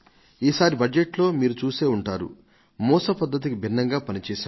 ఈసారి బడ్జెటులో మీరు చూసే ఉంటారు మేం మూస పద్ధతికి భిన్నంగా పని చేశాం